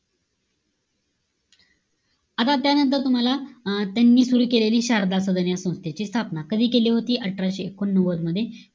आता त्यानंतर तुम्हाला, अं त्यांनी सुरु केलेली शारदा सदन या संस्थेची स्थापना. कधी केली होती? अठराशे एकोणनव्वद मध्ये.